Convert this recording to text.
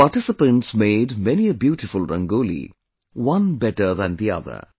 The participants made many a beautiful Rangoli, one better than the other